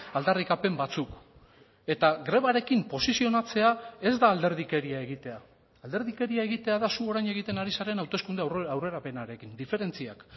aldarrikapen batzuk eta grebarekin posizionatzea ez da alderdikeria egitea alderdikeria egitea da zu orain egiten ari zaren hauteskunde aurrerapenarekin diferentziak